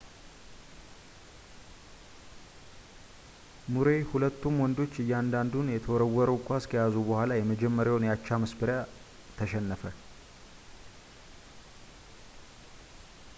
ሙሬይ ሁለቱም ወንዶች እያንዳንዱን የተወረውን ኳስ ከያዙ በኋላ የመጀመሪያውን የአቻ መስበሪያ ተሸነፈ